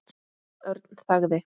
Örn þagði.